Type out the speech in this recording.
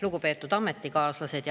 Lugupeetud ametikaaslased!